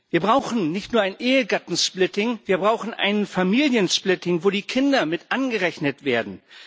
Wir brauchen nicht nur ein Ehegattensplitting, wir brauchen ein Familiensplitting, wo die Kinder mit angerechnet werden.